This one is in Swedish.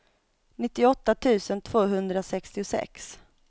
nittioåtta tusen tvåhundrasextiosex